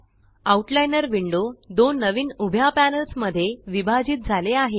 out liner window दोन नवीन उभ्या पॅनल्स मध्ये विभाजित झाले आहे